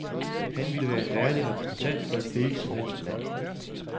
Han ville være en værdig repræsentant for et hvilket som helst land.